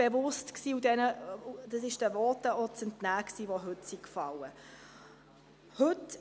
Das war auch den Voten zu entnehmen, die heute gefallen sind.